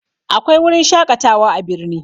Akwai wurin shaƙatawa a birni